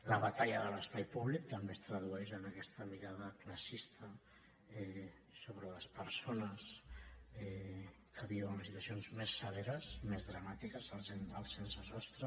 la batalla de l’espai públic també es tradueix en aquesta mirada classista sobre les persones que viuen les situacions més severes i més dramàtiques els sense sostre